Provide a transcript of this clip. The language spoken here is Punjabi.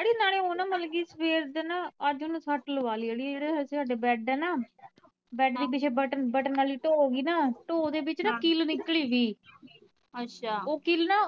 ਅੜੀਏ ਨਾਲੇ ਉਹ ਨਾ ਮਤਲਬ ਕੀ ਸਵੇਰ ਦੇ ਨਾ ਅੱਜ ਉਹਨੂੰ ਸੱਟ ਲਵਾਲੀ ਅੜੀਏ ਜਿਹੜੇ ਇੱਥੇ ਹਾਡੇ bed ਆ ਨਾ bed ਦੇ ਪਿੱਛੇ ਬਟਨ, ਬਟਨ ਆਲੀ ਢੋ ਹੇਗੀ ਨਾ ਢੋ ਦੇ ਵਿਚ ਨਾ ਕਿੱਲ ਨਿਕਲੀ ਸੀ ਉਹ ਕਿੱਲ ਨਾ